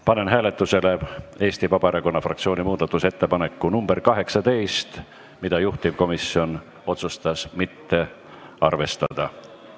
Panen hääletusele Eesti Vabaerakonna fraktsiooni muudatusettepaneku nr 18, mida juhtivkomisjon otsustas mitte arvestada.